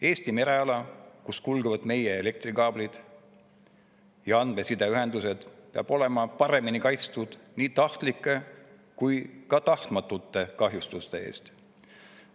Eesti mereala, kus kulgevad meie elektrikaablid ja andmesideühendused, peab olema paremini kaitstud nii tahtlike kui ka tahtmatute kahjustuste eest.